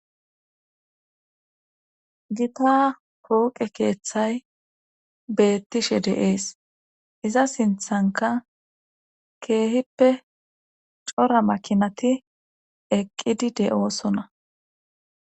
giitta pooqe keeththay beettishe deees iza sinthanka keehippe cora makinati eqqidi de7oosona